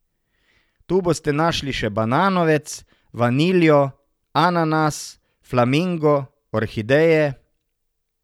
Tu boste našli še bananovec, vaniljo, ananas, flamingo, orhideje ...